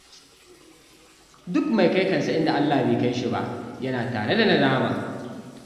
Duk mai kai kansa inda Allah bai kai shi ba, yana tare da nadama